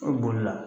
E bolila